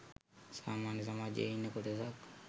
සාමාන්‍ය සමාජයේ ඉන්න කොටසක්.